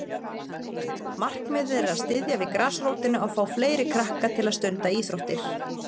Markmiðið er að styðja við grasrótina og fá fleiri krakka til að stunda íþróttir.